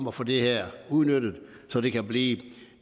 at få det her udnyttet så det kan blive